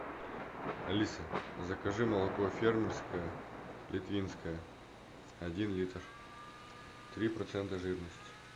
алиса закажи молоко фермерское литвинское один литр три процента жирности